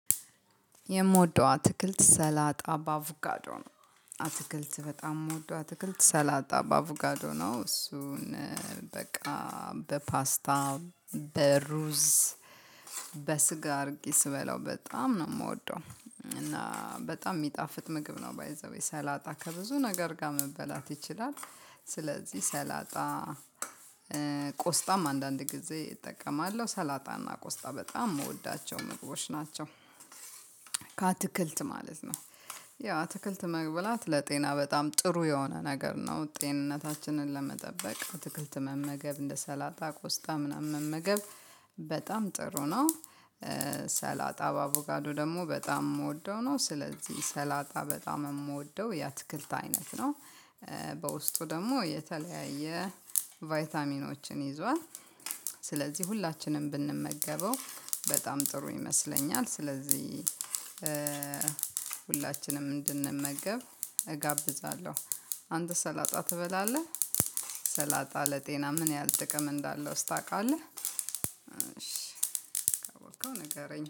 የምወደው አትክልት ሰላጣ በአቮካዶ ነው አትክልት በጣም የምወደው አትክልት ሰላጣ በአቮካዶ ነው። እሱን በቃ በፓስታ በሩዝ በስጋ አድርጌ ስበላው በጣም ነው የምወደው። እና በጣም የሚጣፍጥ ምግብ ነው። ባይ ዘ ዌይ ሰላጣ ከብዙ ነገር ጋር መበላት ይችላል። ስለዚህ ሰላጣ ቆስጣም አንዳንድ ጊዜ እጠቀማለሁ ሰላጣና ቆስጣ በጣም የምወዳቸው ምግቦች ናቸው። ማለት ነው። ያው አትክልት መብላት ለጤና በጣም ጥሩ የሆነ ነገር ነው። ጤንነታችንን ለመጠበቅ አትክልት መመገብ እንደ ሰላጣ ቆስጣ ምናምን መመገብ በጣም ጥሩ ነው። ሰላጣ በአቮካዶ ደግሞ በጣም የምወደው ነው። ስለዚህ ሰላጣ በጣም የምወደው የአትክልት አይነት ነው። በውስጡ ደግሞ የተለያየ ቫይታሚኖችን ይዟል። ስለዚህ ሁላችንም ብንመገበው በጣም ጥሩ ይመስለኛል። ስለዚህ ሁላችንም እንድንመገብ እጋብዛለሁ። አንተ ሰላጣ ትበላለህ? ሰላጣ ለጤና ምን ያህል ጥቅም እንዳለው ስታውቃለህ? እሺ ካወከው ንገረኝ